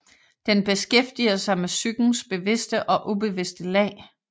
Den beskæftiger sig med psykens bevidste og ubevidste lag